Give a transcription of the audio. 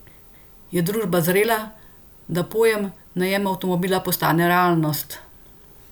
Je družba zrela, da pojem najem avtomobila postane realnost?